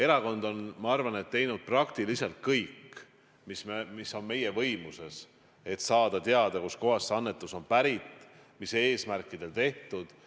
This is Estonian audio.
Erakond on teinud teinud minu arvates praktiliselt kõik, mis on meie võimuses, et saada teada, kustkohast on see annetus pärit ja mis eesmärkidel see on tehtud.